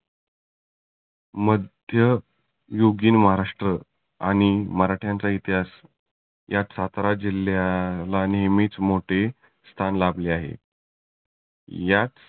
मध्य युगीन महाराष्ट्र आणि मराठ्यांचा इतिहास यात सातारा जिल्ह्याला नेहमीच मोठे स्थान लाभले आहे. याच